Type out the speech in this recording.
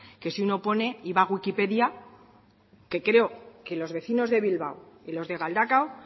que si uno pone y va a wikipedia que creo que los vecinos de bilbao y los de galdakao